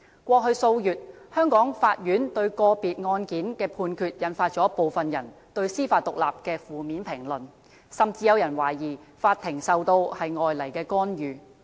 過去數月，香港法院對個別案件的判決，引發部分人對司法獨立的負面評論，甚至有人懷疑法庭受到外來干預。